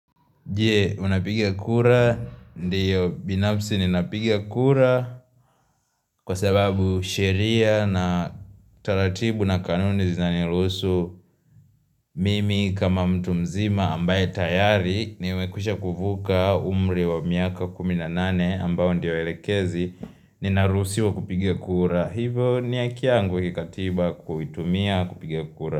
Je unapiga kura ndiyo binafsi ninapiga kura kwa sababu sheria na taratibu na kanuni zinanirusuhu mimi kama mtu mzima ambaye tayari ni mekwisha kuvuka umri wa miaka kumi na nane ambao ndiyo elekezi ninaruhusiwa kupiga kura. Hivo ni haki yangu kikatiba kuitumia kupiga kura.